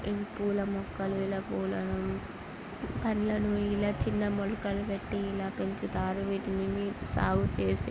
ఇవి పూల మొక్కలు ఇలా పూలను పండ్లను ఇలా చిన్న మొలుకలు పెట్టి ఇలా పెంచుతారు. వీటిని సాగు చేసి --